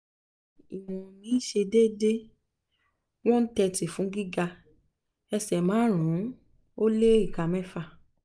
ṣe déédé one thirty fún gíga ẹsẹ̀ márùn ún ó lé ìka mẹ́fà